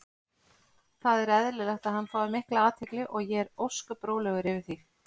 Það er eðlilegt að hann fái mikla athygli og ég er ósköp rólegur yfir því.